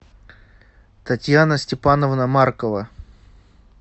татьяна степановна маркова